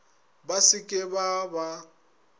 ba se ke ba ba